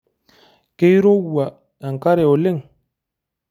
Keirowua enkare oleng?